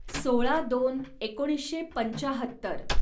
सोळा दोन एकोणीसशे पंचाहत्तर